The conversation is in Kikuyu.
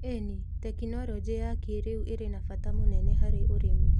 ĩni, tekinoronjĩ ya kĩrũ irĩ na bata mũnene harĩ ũrĩmi.